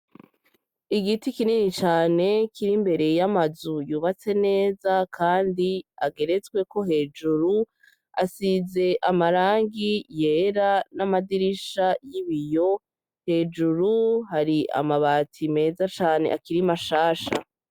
Igiti kinini cane kiri imbere y'amazu yubatse neza, kandi ageretswe ko hejuru asize amarangi yera n'amadirisha y'ibiyo hejuru hari amabati meza cane akirimashasha.